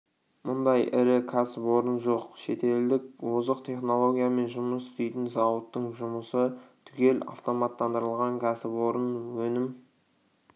мұндай ірі кәсіпорын жоқ шетелдік озық технологиямен жұмыс істейтін зауыттың жұмысы түгел автоматтандырылған кәсіпорын өнім